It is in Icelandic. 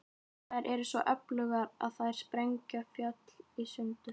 Þær eru svo öflugar að þær sprengja fjöll í sundur.